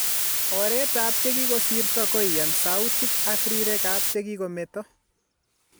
Oreet ap chegigosiirto koiyaan sautik ak riirek ap chekokomeeto.